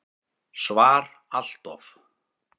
SVAR Allt of.